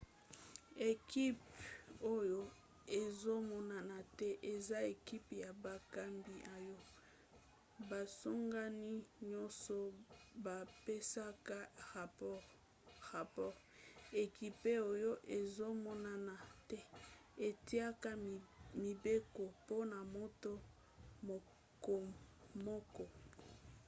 ekipe oyo ezomonana te eza ekipe ya bakambi oyo basangani nyonso bapesaka rapore. ekipe oyo ezomonana te etiaka mibeko mpona moto mokomoko